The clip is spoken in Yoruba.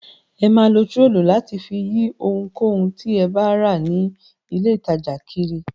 Ẹ máa lo turọlí láti fi yí ohunkóhun tí ẹ bá rà ní ilé-ìtajà kiri.